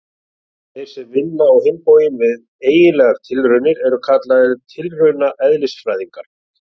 Þeir sem vinna á hinn bóginn við eiginlegar tilraunir eru kallaðir tilraunaeðlisfræðingar.